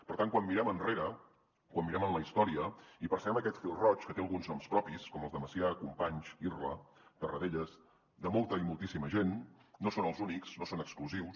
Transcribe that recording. per tant quan mirem enrere quan mirem en la història hi percebem aquest fil roig que té alguns noms propis com els de macià companys irla tarradellas de molta i moltíssima gent no són els únics no són exclusius